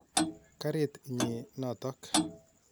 Karit nyi notok.